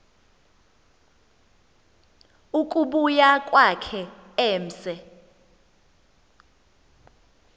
ukubuya kwakhe emse